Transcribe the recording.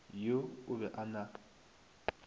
yo o be a na